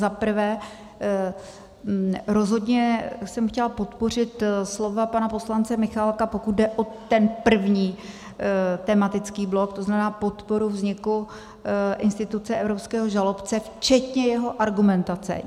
Za prvé, rozhodně jsem chtěla podpořit slova pana poslance Michálka, pokud jde o ten první tematický blok, to znamená podporu vzniku instituce evropského žalobce včetně jeho argumentace.